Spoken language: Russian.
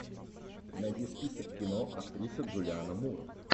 найди список кино актриса джулианна мур